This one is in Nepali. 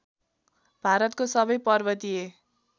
भारतको सबै पर्वतीय